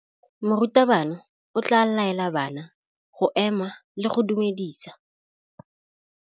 Morutabana o tla laela bana go ema le go go dumedisa.